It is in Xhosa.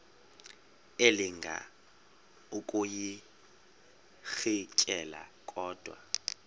elinga ukuyirintyela kodwa